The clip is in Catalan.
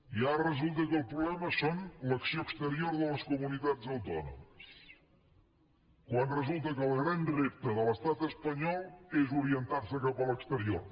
i ara resulta que el problema és l’acció exterior de les comunitats autònomes quan resulta que el gran repte de l’estat espanyol és orientar se cap a l’exterior